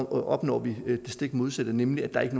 opnår det stik modsatte nemlig at der ikke